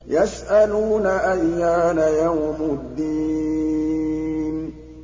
يَسْأَلُونَ أَيَّانَ يَوْمُ الدِّينِ